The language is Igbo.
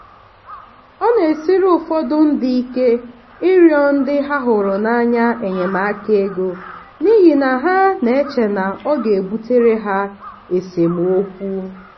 ọ na-esiri ụfọdụ ndị ike ịrịọ ndị ha hụrụ n'anya enyemaka ego n'ihi na ha na-eche na ọ ga-ebutere ha esemokwu.